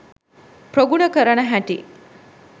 ප්‍රගුණ කරන හැටි